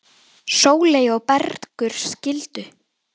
Sóley og Bergur skildu.